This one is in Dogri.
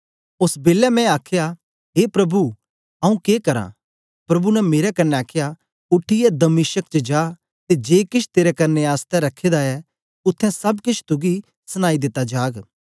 ओस बेलै मैं आखया ए प्रभु आंऊँ के करां प्रभु ने मेरे कन्ने आखया उठीयै दमिश्क च जा ते जे केछ तेरे करने आसतै रखे दा ऐ उत्थें सब केछ तुगी सनाई दिता जाग